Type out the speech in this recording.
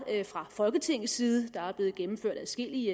fra folketingets side der blev gennemført adskillige